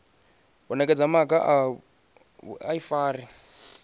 u nekedza maga a vhuifari